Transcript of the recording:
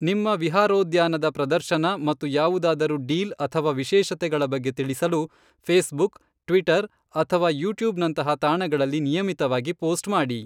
ನಿಮ್ಮ ವಿಹಾರೋದ್ಯಾನದ ಪ್ರದರ್ಶನ ಮತ್ತು ಯಾವುದಾದರೂ ಡೀಲ್ ಅಥವಾ ವಿಶೇಷತೆಗಳ ಬಗ್ಗೆ ತಿಳಿಸಲು ಫೇಸ್ಬುಕ್, ಟ್ವಿಟರ್ ಅಥವಾ ಯೂಟ್ಯೂಬ್ನಂತಹ ತಾಣಗಳಲ್ಲಿ ನಿಯಮಿತವಾಗಿ ಪೋಸ್ಟ್ ಮಾಡಿ.